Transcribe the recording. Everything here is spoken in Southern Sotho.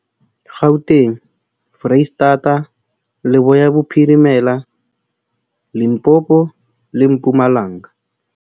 Gauteng, Freistata, Leboya Bophirimela, Limpopo le Mpumalanga.